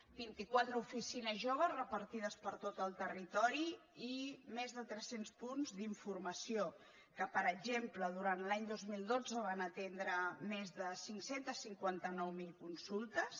vint i quatre oficines joves repartides per tot el territori i més de tres cents punts d’informació que per exemple durant l’any dos mil dotze van atendre més de cinc cents i cinquanta nou mil consultes